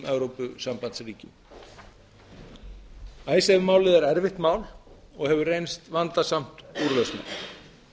evrópusambandsríkjum icesave málið er erfitt mál og hefur reynst vandasamt úrlausnar